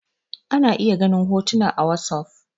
ana iya ganin hotuna a wasof